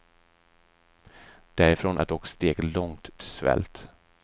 Därifrån är dock steget långt till svält.